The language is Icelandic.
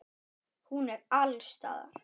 Hún er alls staðar.